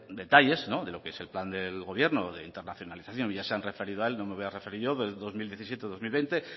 detalles de lo que es el plan del gobierno de internacionalización ya se han referido a él no me voy a referir yo del dos mil diecisiete dos mil veinte